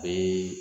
A bɛ